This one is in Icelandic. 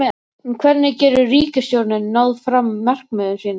En hvernig getur ríkisstjórnin náð fram markmiðum sínum?